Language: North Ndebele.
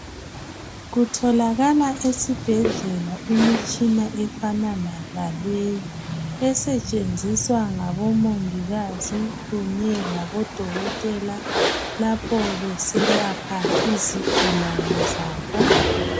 Kutholakala esibhedlela imitshina efanana laleyi. Esetshenziswa labomongikazi kunye labodokotela lapho beselapha izigulane zabo.